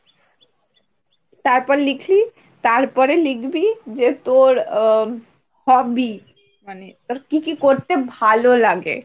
তারপর লিখলি, তারপরে লিখবি যে তোর অ্যা hobby মানে তোর কি কি করতে ভালো লাগে,